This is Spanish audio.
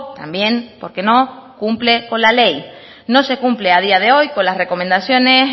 también porque no cumple con la ley no se cumple a día de hoy con las recomendaciones